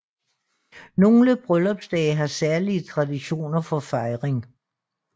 Nogle bryllupsdage har særlige traditioner for fejring